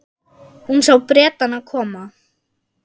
Hún sá Bretana koma.